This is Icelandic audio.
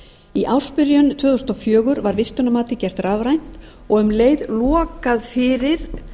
í ársbyrjun tvö þúsund og fjögur var vistunarmatið gert rafrænt og um leið lokað fyrir